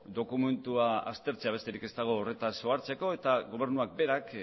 dokumentua aztertzea besterik ez dago horretaz ohartzeko eta gobernuak berak